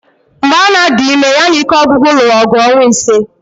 Mgbe Anna dị ime, ya na ike ọgwụgwụ lụrụ ọgụ ọnwa ịse